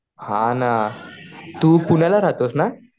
हा ना. तू पुण्याला राहतोस ना?